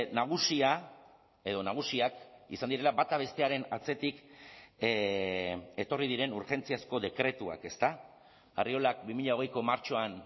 nagusia edo nagusiak izan direla bata bestearen atzetik etorri diren urgentziazko dekretuak ezta arriolak bi mila hogeiko martxoan